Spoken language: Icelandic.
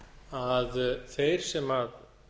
að þeir sem